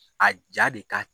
A ja de ka